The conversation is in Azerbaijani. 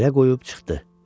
Yerə qoyub çıxdı.